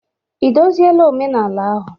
Ị dozila omenala ahụ?